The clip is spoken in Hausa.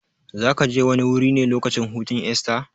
Zakaje wani wuri ne lokacin hutun Esta?